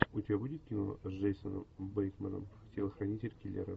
у тебя будет кино с джейсоном бейтманом телохранитель киллера